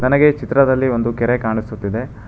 ನನಗೆ ಚಿತ್ರದಲ್ಲಿ ಒಂದು ಕೆರೆ ಕಾಣಿಸುತ್ತಿದೆ.